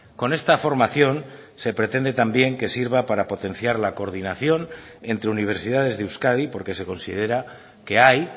con esta formación se pretende también que sirva para potenciar la coordinación entre universidades de euskadi porque se considera que hay